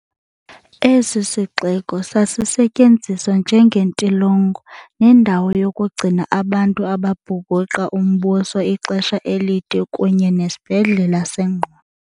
Esi sixeko sasi setyenziswa njengentilongo nendawo yokugcina abantu ababhukuqa umbuso ixesha elide, kunye nesibhedlela sengqondo.